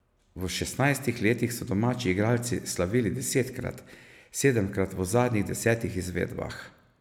V šestnajstih letih so domači igralci slavili desetkrat, sedemkrat v zadnjih desetih izvedbah.